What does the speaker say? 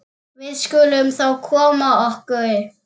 Við skulum þá koma okkur.